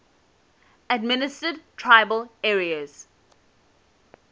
administered tribal areas